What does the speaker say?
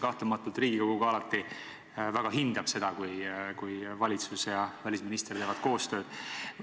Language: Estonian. Kahtlemata Riigikogu ka alati väga hindab seda, kui valitsus ja välisminister teevad meiega koostööd.